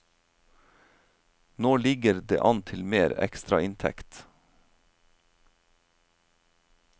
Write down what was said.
Nå ligger det an til mer ekstrainntekt.